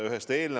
Jah, annab küll.